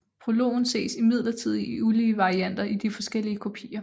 Prologen ses imidlertid i ulige varianter i de forskellige kopier